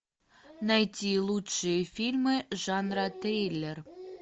найти лучшие фильмы жанра триллер